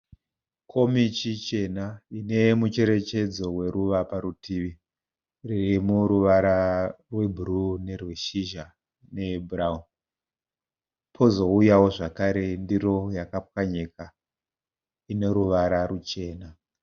Komichi chena ine mucherechedzo weruva parutivi iri yomuruvara rwebhuru nerweshizha neyebhurauni. Pozouyawo zvakare ndiro yakapwanyika ine ruvara ruchena.